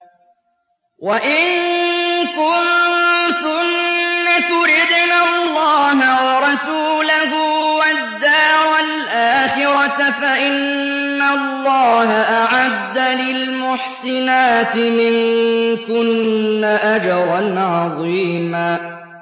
وَإِن كُنتُنَّ تُرِدْنَ اللَّهَ وَرَسُولَهُ وَالدَّارَ الْآخِرَةَ فَإِنَّ اللَّهَ أَعَدَّ لِلْمُحْسِنَاتِ مِنكُنَّ أَجْرًا عَظِيمًا